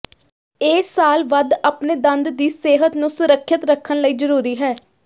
ਇਹ ਸਾਲ ਵੱਧ ਆਪਣੇ ਦੰਦ ਦੀ ਸਿਹਤ ਨੂੰ ਸੁਰੱਖਿਅਤ ਰੱਖਣ ਲਈ ਜ਼ਰੂਰੀ ਹੈ